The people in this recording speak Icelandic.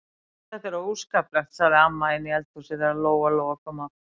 Þetta er óskaplegt, sagði amma inni í eldhúsi þegar Lóa-Lóa kom aftur.